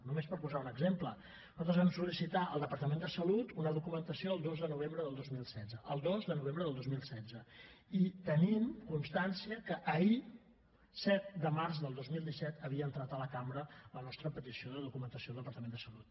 només per posar un exemple nosaltres vam sol·licitar al departament de salut una documentació el dos de novembre del dos mil setze el dos de novembre del dos mil setze i tenim constància que ahir set de març del dos mil disset havia entrat a la cambra la nostra petició de documentació el departament de salut